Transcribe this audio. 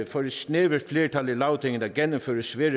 for et snævert flertal i lagtinget at gennemføre svære